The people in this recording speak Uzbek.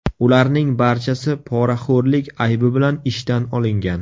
Ularning barchasi poraxo‘rlik aybi bilan ishdan olingan.